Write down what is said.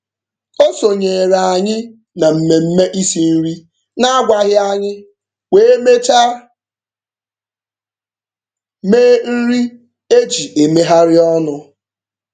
O sonyeere anyị na mmemme isi nri na-agwaghị anyị wee mechaa mee nri e ji emegharị ọnụ.